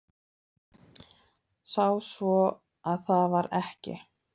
Sá svo að það var ekki.